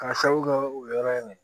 K'a sababu kɛ o yɔrɔ in na